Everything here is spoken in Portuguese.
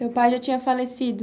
Seu pai já tinha falecido?